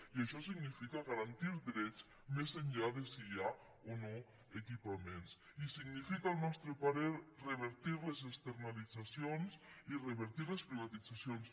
i això significa garantir drets més enllà de si hi ha o no equipaments i significa al nostre parer revertir les externalitzacions i revertir les privatitzacions